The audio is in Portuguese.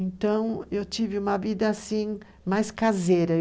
Então, eu tive uma vida assim mais caseira.